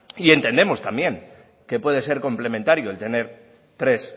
y entendemos también que puede ser complementario el tener tres